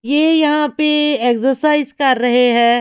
ये यहाँ पे एक्सरसाइज कर रहे हैं।